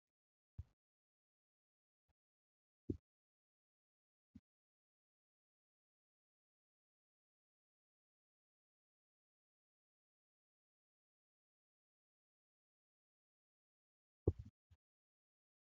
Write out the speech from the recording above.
Meeshaan qaruura saamsamaa kanneen akka lallaafaa , biiraa, bishaan Amboo fi kan kana fakkaatan banuuf tajaajilu lafa irratti kufee jira. Inni. jabaataa fi sibiila jabaataa kanneen akka Ayireenii, koopparii fi aluminiyeemii irraa kan tolfamuudha.